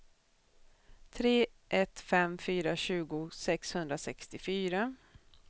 tre ett fem fyra tjugo sexhundrasextiofyra